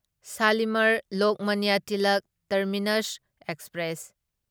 Shalimar Lokmanya Tilak terminus express